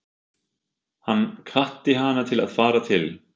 Hann hvatti hana til að fara til